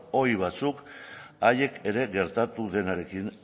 ohi batzuk haiek ere gertatu denarekin